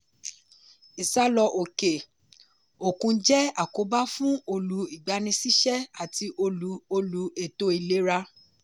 ìsálọ̀ òke-òkun jẹ́ àkóbá fún olú ìgbaniṣíṣẹ́ ati olú olú ètò ìlera.